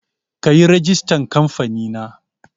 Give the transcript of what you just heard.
Kayi rigistar kamfanin